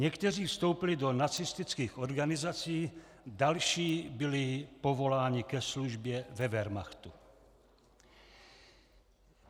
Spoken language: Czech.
Někteří vstoupili do nacistických organizací, další byli povoláni ke službě ve wehrmachtu.